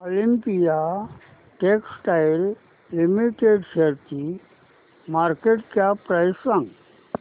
Olympia textiles limited शेअरची market cap price सांगा